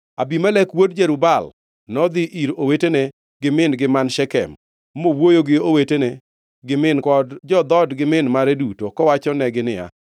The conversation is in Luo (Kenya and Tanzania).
Abimelek wuod Jerub-Baal nodhi ir owete gi min-gi man Shekem mowuoyo gi owete gi min-gi kod jo-dhood gi min mare duto, kowachonegi niya,